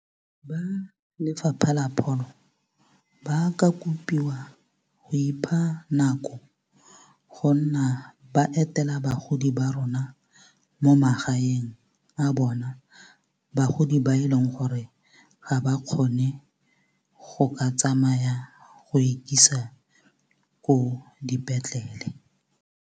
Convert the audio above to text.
Ba Lefapha la Pholo ba ka kopiwa go ipha nako go nna ba etela bagodi ba rona mo magaeng a bona bagodi ba e leng gore ga ba kgone go ka tsamaya go ikisa ko dipetlele.